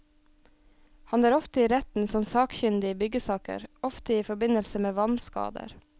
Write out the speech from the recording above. Han er ofte i retten som sakkyndig i byggesaker, ofte i forbindelse med vannskader.